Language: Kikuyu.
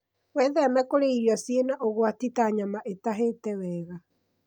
Wĩtheme kũrĩa irio cĩina ũgwati ta nyama ĩtahĩte wega.